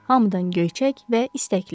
Hamıdan göyçək və istəkli.